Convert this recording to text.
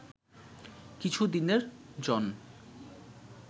কিছু দিনের জন্